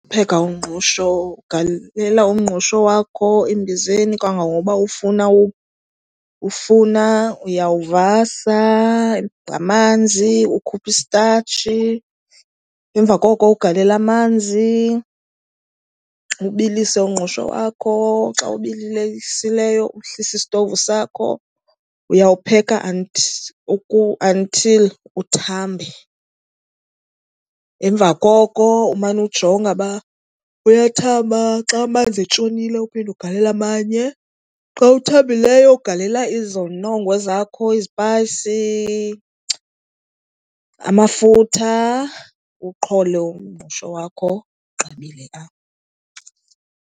Upheka umngqusho ugalela umngqusho wakho embizeni kangangoba ufuna. Uyawuvasa ngamanzi, ukhuphe istatshi. Emva koko ugalele amanzi ubilise umngqusho wakho, xa ubilileyo uhlise isitovu sakho. Uyawupheka until uthambe, emva koko umane ujonga uba uyathamba, xa amanzi etshonile uphinde ugalele amanye. Xa uthambileyo ugalela izinongo zakho, izipayisi, amafutha, uwuqhole umngqusho wakho. Ugqibile apho.